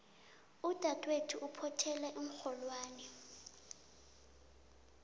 udadwethu uphothela iinrholwani